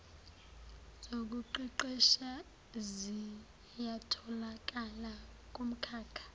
zokuqeqesha ziyatholakala kumkhakha